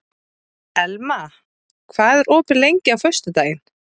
Elma, hvað er opið lengi á föstudaginn?